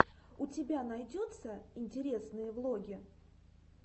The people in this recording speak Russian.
у тебя найдется интересные влоги